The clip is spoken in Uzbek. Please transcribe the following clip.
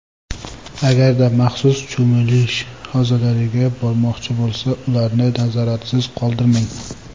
Agarda maxsus cho‘milish havzalariga bormoqchi bo‘lsa, ularni nazoratsiz qoldirmang!